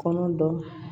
Kɔnɔ dɔ